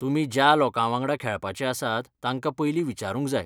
तुमी ज्या लोकांवांगडा खेळपाचे आसात तांकां पयलीं विचारूंक जाय.